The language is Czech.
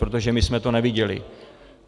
Protože my jsme to neviděli.